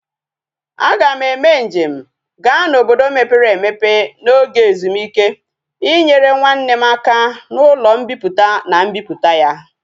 A ga m eme njem ga na obodo mepere emepe na oge ezumike inyere nwanne m aka na ulo mpiputa na mbiputa ya